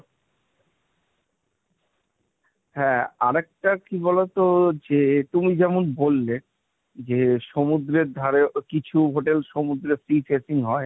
হ্যাঁ আর একটা কি বলতো যে তুমি যেমন বললে যে সমুদ্রের ধারে কিছু hotel সমুদ্রে Sea facing হয়,